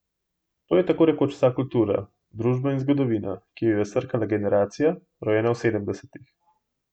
To je tako rekoč vsa kultura, družba in zgodovina, ki jo je srkala generacija, rojena v sedemdesetih.